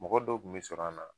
Mɔgɔ dɔw kun bi sɔrɔ an na